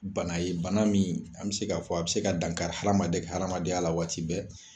Bana ye bana min an bɛ se k'a fɔ a bɛ se ka dan kari adamaden ka adamadenya la waati bɛɛ